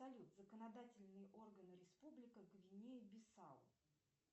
салют законодательные органы республика гвинея бисау